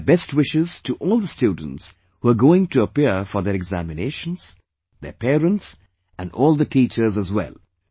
My best wishes to all the students who're going to appear for their examinations, their parents and all the teachers as well